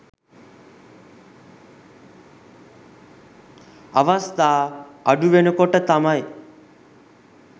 අවස්ථා අඩු වෙනකොට තමයි